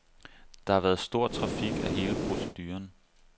Der har været stor kritik af hele proceduren.